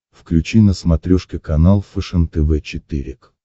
включи на смотрешке канал фэшен тв четыре к